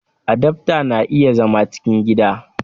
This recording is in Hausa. Adaftan na iya zama cikin gida